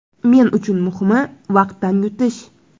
Men uchun muhimi vaqtdan yutish.